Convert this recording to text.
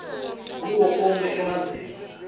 kuwo onkhe emazinga